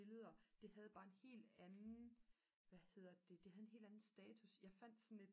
billeder det havde bare en helt anden hvad hedder det det havde en helt anden status jeg fandt sådan et